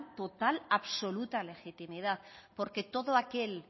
total absoluta legitimidad porque todo aquel